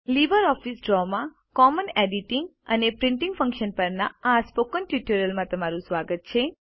LibreOffice ડ્રોમાં common editing અને printing functions પરના સ્પોકન ટ્યુટોરિયલમાં તમારું સ્વાગત છે